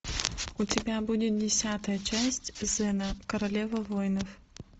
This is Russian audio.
у тебя будет десятая часть зена королева воинов